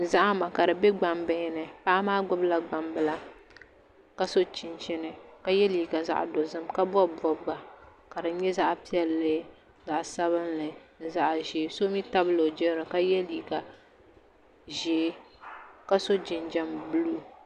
Zahama ka di bɛ gbambihi ni paɣa maa gbubila gbambila ka so chinchini ka yɛ liiga zaɣ dozim ka bob bobga ka di nyɛ zaɣ piɛlli zaɣ sabinli ni zaɣ ʒiɛ so mii tabila o jirili ka yɛ liiga ʒiɛ ka so jinjɛm buluu